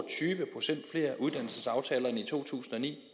tyve procent flere uddannelsesaftaler end i to tusind og ni